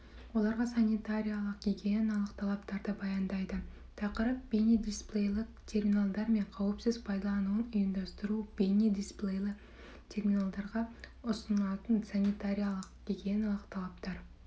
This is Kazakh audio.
оларға санитариялық-гигиеналық талаптарды баяндайды тақырып бейне дисплейлі терминалдар мен қауіпсіз пайдалануын ұйымдастыру бейне дисплейлі терминалдарға ұсынылатын санитариялық-гиниеналық талаптар